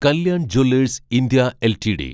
Kalyan jewellers India LTD